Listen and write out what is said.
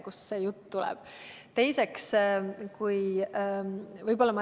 Kust see jutt tuleb?